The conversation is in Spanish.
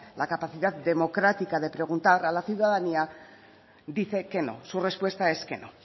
la capacidad democrática de preguntar a la ciudadanía dice que no su respuesta es que no